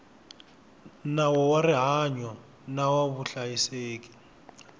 nawu wa rihanyo na vuhlayiseki